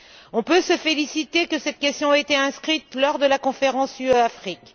On peut se féliciter que cette question a été inscrite lors de la conférence UE Afrique.